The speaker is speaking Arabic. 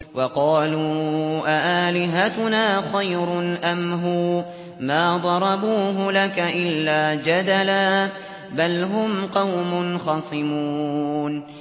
وَقَالُوا أَآلِهَتُنَا خَيْرٌ أَمْ هُوَ ۚ مَا ضَرَبُوهُ لَكَ إِلَّا جَدَلًا ۚ بَلْ هُمْ قَوْمٌ خَصِمُونَ